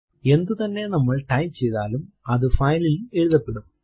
എന്തുതന്നെ നമ്മൾ ടൈപ്പ് ചെയ്താലും അതു file ൽ എഴുതപ്പെടും